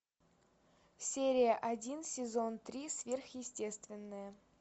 серия один сезон три сверхъестественное